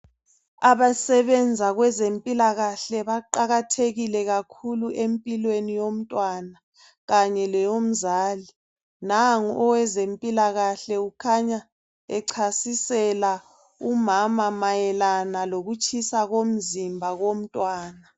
Abasebenza kwezempilakahle baqakathekile kakhulu empilweni yomntwana kanye leyomzali nangu owezempilakahle ukhanya echasisela umama mayelana ngokutshisa komzimba komntwana.